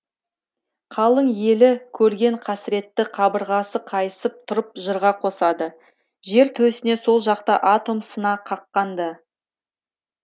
қалың елі көрген қасіретті қабырғасы қайысып тұрып жырға қосады жер төсіне сол жақта атом сына қаққан ды